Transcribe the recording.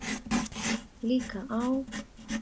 Líka á